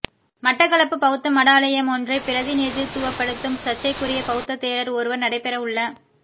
மட்டக்களப்பு பௌத்த மடாலயமொன்றைப் பிரதிநித்துவப்படுத்தும் சர்ச்சைக்குரிய பௌத்த தேரர் ஒருவர் நடைபெறவுள